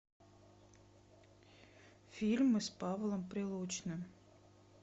фильмы с павлом прилучным